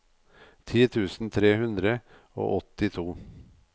ti tusen tre hundre og åttito